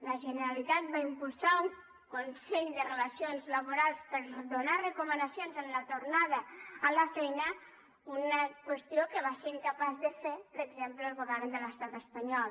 la generalitat va impulsar un consell de relacions laborals per a donar recomanacions en la tornada a la feina una qüestió que va ser incapaç de fer per exemple el govern de l’estat espanyol